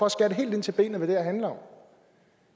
at skære helt ind til benet af handler om